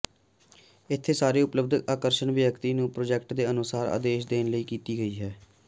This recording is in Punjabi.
ਇੱਥੇ ਸਾਰੇ ਉਪਲੱਬਧ ਆਕਰਸ਼ਣ ਵਿਅਕਤੀ ਨੂੰ ਪ੍ਰਾਜੈਕਟ ਦੇ ਅਨੁਸਾਰ ਆਦੇਸ਼ ਦੇਣ ਲਈ ਕੀਤੀ ਗਈ ਹੈ